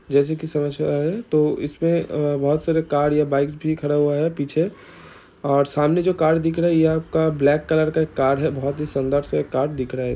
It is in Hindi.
जैसे की समझ मे आ रहा है तो इसमे अ बोहोत सारे कार या बाइक्स भी खड़ा हुए है पीछे और सामने जो कार दिख रही है आपका ब्लैक कलर कार का